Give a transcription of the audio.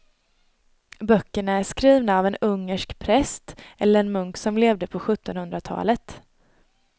Böckerna är skrivna av en ungersk präst eller munk som levde på sjuttonhundratalet.